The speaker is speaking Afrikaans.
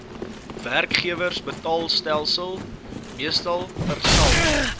werkgewersbetaalstelsel meestal persal